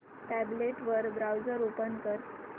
tablet वर browser open कर